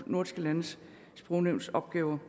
nordiske landes sprognævns opgaver